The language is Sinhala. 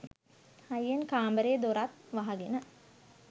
හයියෙන් කාමරෙ දොරත් වහගෙන